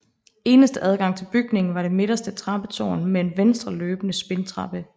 Eneste adgang til bygningen var det midterste trappetårn med en venstreløbende spindtrappe